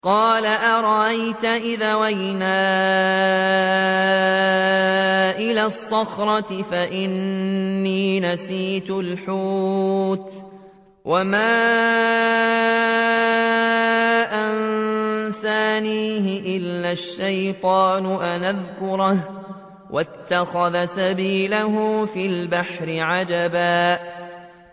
قَالَ أَرَأَيْتَ إِذْ أَوَيْنَا إِلَى الصَّخْرَةِ فَإِنِّي نَسِيتُ الْحُوتَ وَمَا أَنسَانِيهُ إِلَّا الشَّيْطَانُ أَنْ أَذْكُرَهُ ۚ وَاتَّخَذَ سَبِيلَهُ فِي الْبَحْرِ عَجَبًا